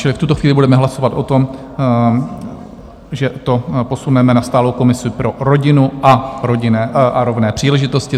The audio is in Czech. Čili v tuto chvíli budeme hlasovat o tom, že to posuneme na stálou komisi pro rodinu a rovné příležitosti.